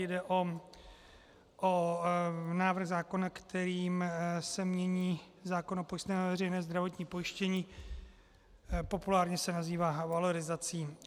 Jde o návrh zákona, kterým se mění zákon o pojistném na veřejné zdravotní pojištění, populárně se nazývá valorizací.